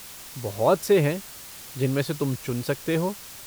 बहुत से हैं जिनमें से तुम चुन सकते हो।